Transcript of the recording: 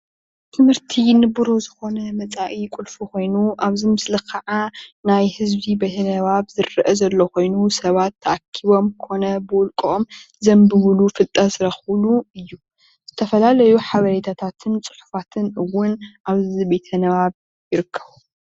ትምህርቲ ንቡርህ ዝኮነ መፃኢ ቁልፊ ኮይኑ ኣብዚ ምስሊ ከዓ ናይ ህዝቢ ቤተ ንባብ ዝረአ ዘሎ ኮይኑ ሰባት ተኣኪቦም ኮነ ብውልቆኦም ዘንብብሉን ፍልጠት ዝረክብሉን እዩ፡፡ ዝተፈላለዩ ሓበራታትን ፅሑፋትን እውን ኣብዚ ቤተንባብ ይርከቡ፡፡